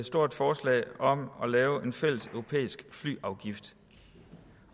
stort forslag om at lave en fælles europæisk flyafgift